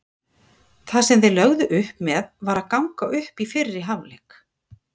Það sem þeir lögðu upp með var að ganga upp í fyrri hálfleik.